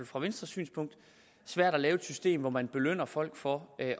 fra venstres synspunkt svært at lave et system hvor man belønner folk for at